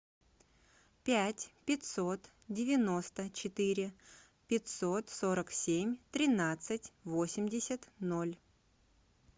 пять пятьсот девяносто четыре пятьсот сорок семь тринадцать восемьдесят ноль